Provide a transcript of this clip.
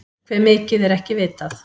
Hve mikið er ekki vitað.